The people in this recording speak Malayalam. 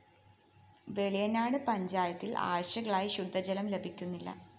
വെളിയനാട് പഞ്ചായത്തില്‍ ആഴ്ചകളായി ശുദ്ധജലം ലഭിക്കുന്നില്ല